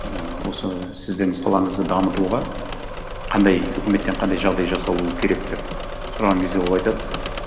ііі осы сіздің салаңызды дамытуға қандай өкіметтен қандай жағдай жасалуы керек деп сұраған кезде ол айтады